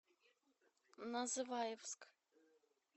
называевск